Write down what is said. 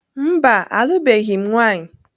Mba, alụbeghị m nwanyị.